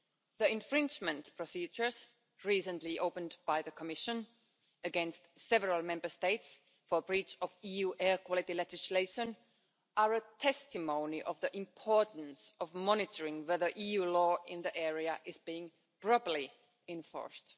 The infringement procedures recently opened by the Commission against several Member States for breach of EU air quality legislation are a testimony of the importance of monitoring whether EU law in the area is being properly enforced.